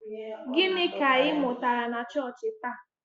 Gịnị ka ị mụtara na chọọchị taa?